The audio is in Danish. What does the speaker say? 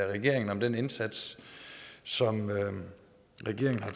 regeringen om den indsats som regeringen har